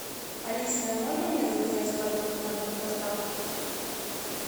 алиса можно мне заказать продукты на дом с доставкой